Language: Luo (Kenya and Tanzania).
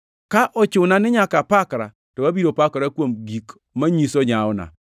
Ka ochuna ni nyaka apakra, to abiro pakora, kuom gik manyiso nyawona.